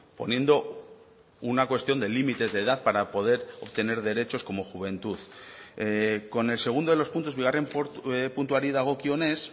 poniendo una cuestión de límites de edad para poder obtener derechos como juventud con el segundo de los puntos bigarren puntuari dagokionez